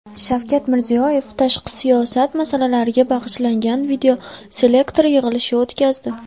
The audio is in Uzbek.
Shavkat Mirziyoyev tashqi siyosat masalalariga bag‘ishlangan videoselektor yig‘ilishi o‘tkazdi.